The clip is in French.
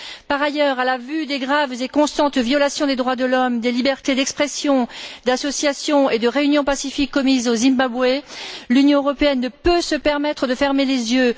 Par ailleurs, à la vue des graves et constantes violations des droits de l'homme, des libertés d'expression, d'association et de réunion pacifique commises au Zimbabwe, l'Union européenne ne peut se permettre de fermer les yeux.